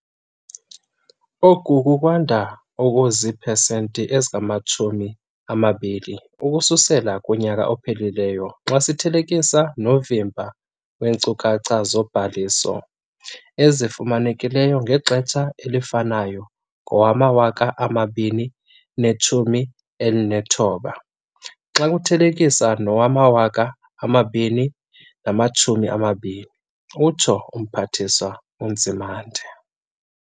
"Oku kukwanda okuzipesenti ezingama-20 ukususela kunyaka ophelileyo xa sithelekisa novimba weenkcukacha zobhaliso ezifumanekileyo ngexesha elifanayo ngowama-2019 xa umthelekise nowama-2020," utsho uMphathiswa uNzimande.